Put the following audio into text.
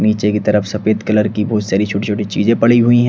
नीचे की तरफ सफेद कलर की बहुत सारी छोटी छोटी चीजें पड़ी हुई हैं।